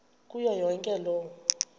kuyo yonke loo